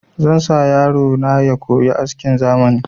Zan sa yaro na ya koyi askin zamani